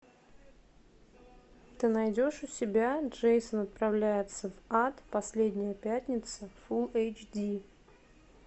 ты найдешь у себя джейсон отправляется в ад последняя пятница фулл эйч ди